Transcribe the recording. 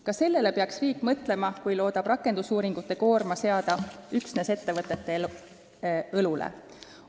" Ka sellele peaks riik mõtlema, kui loodab rakendusuuringute koorma seada üksnes ettevõtete õlule.